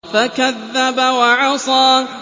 فَكَذَّبَ وَعَصَىٰ